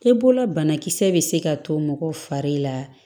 E bolola banakisɛ bɛ se ka to mɔgɔ fari la